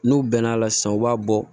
N'u bɛn'a la sisan u b'a bɔ